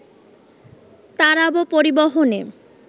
তারাবো পরিবহনে